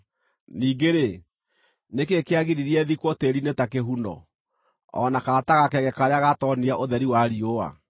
Ningĩ-rĩ, nĩ kĩĩ kĩagiririe thikwo tĩĩri-inĩ ta kĩhuno o na kana ta gakenge karĩa gatoonire ũtheri wa riũa?